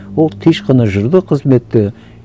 ол тыныш қана жүрді қызметте